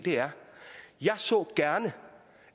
jeg så gerne